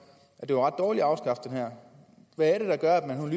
at det var ret dårligt at afskaffe den her hvad er det der gør at